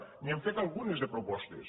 n’hi hem fet algunes de propostes